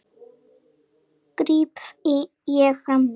gríp ég fram í.